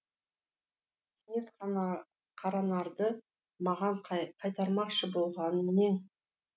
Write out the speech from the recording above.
кенет қаранарды маған қайтармақшы болғаның нең